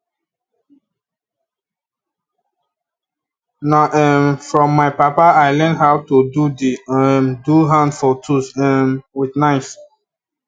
na um from my papa i learn how to do the um do hand of tools um with knife